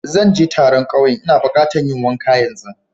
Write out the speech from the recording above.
Zan je taron kauyen n'na buƙata yin wanka yanzu.